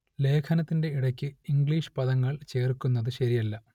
ലേഖനത്തിന്റെ ഇടക്ക് ഇംഗ്ലീഷ് പദങ്ങൾ ചേർക്കുന്നത് ശരിയല്ല